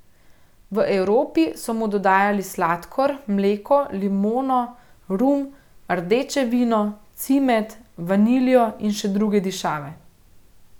V Evropi so mu dodajali sladkor, mleko, limono, rum, rdeče vino, cimet, vaniljo in še druge dišave.